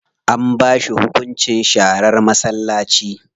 An ba shi hunkunci sharar masallaci.